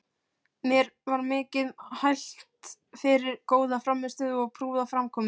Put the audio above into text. Mér var mikið hælt fyrir góða frammistöðu og prúða framkomu.